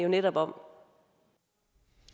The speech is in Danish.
netop om